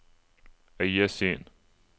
øyesyn